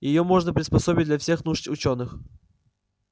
её можно приспособить для всех нужд учёных